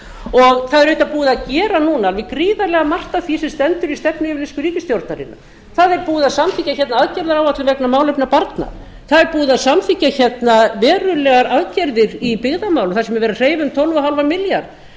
og það er reyndar búið að gera núna gríðarlega margt af því sem stendur í stefnuyfirlýsingu ríkisstjórnarinnar það er búið að samþykkja aðskilnaðaráætlun vegna málefna barna það er búið að samþykkja verulegar aðgerðir í byggðamálum þar sem er verið að hreyfa um tólf komma fimm milljarða